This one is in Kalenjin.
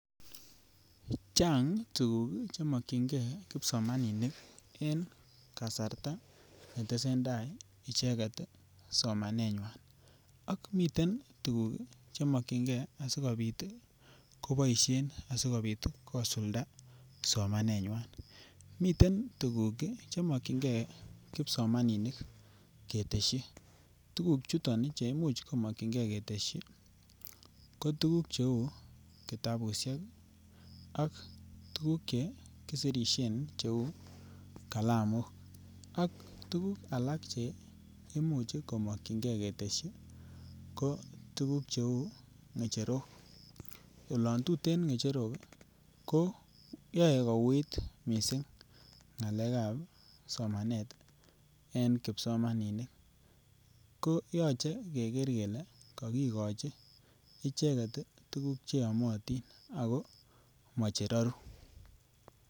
Chang tuguk che mokyingee kipsomaninik en kasarta ne tesentai icheget somanenywan, ak miten tuguk che mokyingee asikopit ii koboishen asikopit kosulda somanenywan. Miten tuguk ii che mokyingee kipsomaninik keteshi tuguk choton che imuch ko mokyingee keteshi ko tuguk che uu kitabushek ak tuguk che kisirisien che uu kalamok ak tuguk alak che imuch ko mokyingee keteshi ko tuguk che uu ngecherok, olon tuten ngecherok ii ko yue kouit missing ngalekab somanet en kipsomaninik ko yoche keger kelee kokigochi icheget tuguk che yomotin ako moche roru